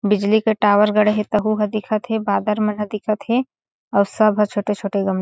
बिजली का टावर गड़े हे तहु ह दिखा थे बादर मन ह दिखा थे अऊ सब ह छोटे-छोटे ग--